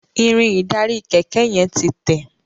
Irin ìdarí kéké yen tí Te.